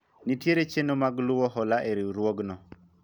nitiere chenro mag luwo hola e riwruogno